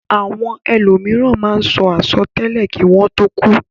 Àwon elòmìràn máá n so asòtélè kí wón tó kúú.